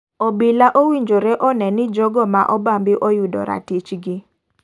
Obila owinjore one ni jogo ma obambi oyudo ratich gi.